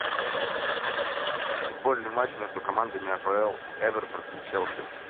футбольный матч между командами апл эвертон и челси